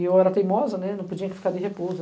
E eu era teimosa, né?! não podia ficar de repouso.